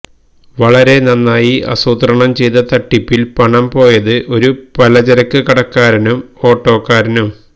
വളരെ നന്നായി ആസൂത്രണം ചെയ്ത തട്ടിപ്പിൽ പണം പോയത് ഒരു പലചരക്ക് കടക്കാരനും ഓട്ടോക്കാരനും